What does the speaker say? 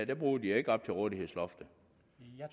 der bruger de ikke op til rådighedsloftet